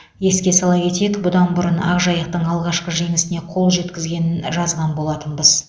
еске сала кетейік бұдан бұрын ақжайықтың алғашқы жеңісіне қол жеткізгенін жазған болатынбыз